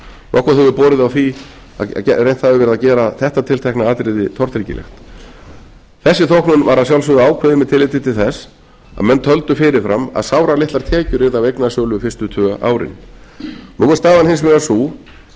nokkuð hefur borið á því að reynt hafi verið að gera þetta tiltekna atriði tortryggilegt þessi þóknun var að sjálfsögðu ákveðin með tilliti til þess að menn töldu fyrirfram að sáralitlar tekjur af eignasölu fyrstu tvö árin nú er staðan hins vegar sú